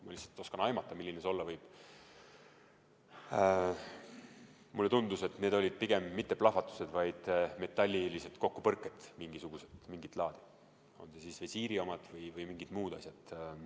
Ma lihtsalt oskan aimata, milline see olla võib, ja mulle tundus, et need olid pigem mitte plahvatused, vaid mingisugused metallilised kokkupõrked, kas siis visiiri omad või põrkusid mingid muud asjad.